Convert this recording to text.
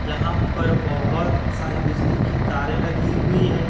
यहां पर बहोत सारी बिजली की तारे लगी हुई है।